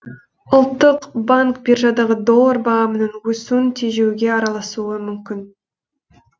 ұлттық банк биржадағы доллар бағамының өсуін тежеуге араласуы мүмкін